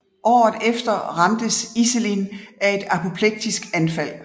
Året efter ramtes Iselin af et apoplektisk anfald